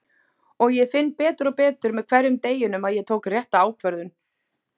Og ég finn betur og betur með hverjum deginum að ég tók rétta ákvörðun.